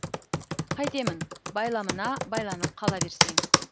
қайтемін байламына байланып қала берсең